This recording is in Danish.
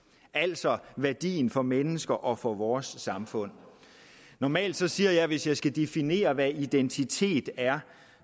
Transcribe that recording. altså om værdien for mennesker og for vores samfund normalt siger jeg hvis jeg skal definere hvad identitet er